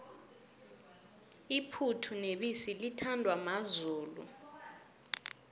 iphuthu nebisi lithandwa mazulu